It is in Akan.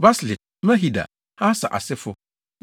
Baslit, Mehida, Harsa asefo 1